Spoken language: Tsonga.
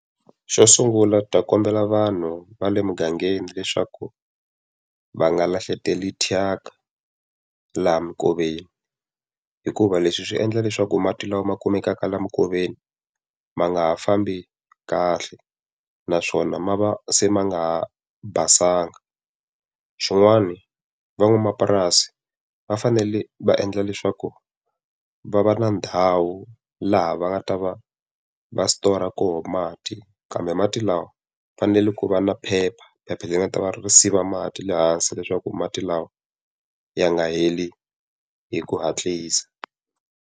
Xo sungula ni ta kombela vanhu va le mugangeni leswaku va nga lahleteli thyaka laha minkoveni. Hikuva leswi swi endla leswaku mati lawa ma kumekaka laha minkoveni ma nga ha fambi kahle naswona ma va se ma nga ha basanga. Swin'wani van'wamapurasi va fanele va endla leswaku va va na ndhawu laha va nga ta va va stora koho mati kambe mati lawa, ku fanele ku va na phepha, phepha leri nga ta va ri siva mati le hansi leswaku mati lawa ya nga heli hi ku hatlisa.